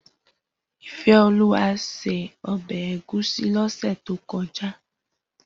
Ifeoluwa sé òbè égúsì lòsè tókòjá